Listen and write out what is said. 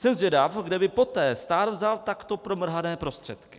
Jsem zvědav, kde by poté stát vzal takto promrhané prostředky.